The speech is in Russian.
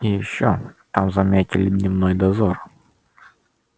и ещё там заметили дневной дозор